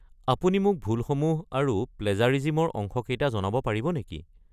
আপুনি মোক ভুলসমূহ আৰু প্লেজাৰিজিমৰ অংশকেইটা জনাব পাৰিব নেকি?